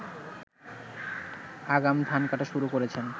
আগাম ধান কাটা শুরু করেছেন